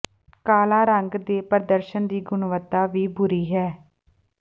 ਕਾਲਾ ਰੰਗ ਦੇ ਪ੍ਰਦਰਸ਼ਨ ਦੀ ਗੁਣਵੱਤਾ ਵੀ ਬੁਰੀ ਹੈ